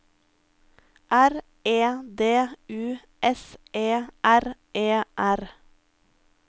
R E D U S E R E R